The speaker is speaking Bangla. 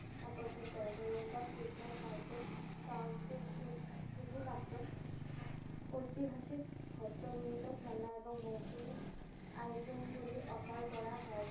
আকর্ষণ করে। Nuremberg Christmas market south B সু~ শুধু নব্বই ঐতিহাসিক হস্তনির্মিত খেলনা এবং মৌসুম item গুলি offer করা হয়।